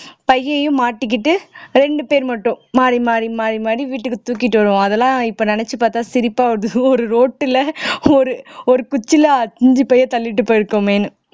பையையும் மாட்டிகிட்டு ரெண்டு பேர் மட்டும் மாறி மாறி மாறி மாறி வீட்டுக்கு தூக்கிட்டு வருவோம் அதெல்லாம் இப்ப நினைச்சு பார்த்தா சிரிப்பா வருது ஒரு road ல ஒரு ஒரு குச்சியில அஞ்சு பையை தள்ளிட்டு போயிருக்கோமேன்னு